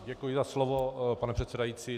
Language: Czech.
Děkuji za slovo, pane předsedající.